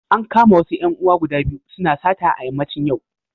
An kama wasu ‘yan uwa guda biyu suna sata a yammacin yau.